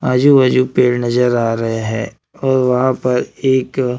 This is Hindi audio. आजू बाजू पेड़ नजर आ रहे हैं और वहां पर एक--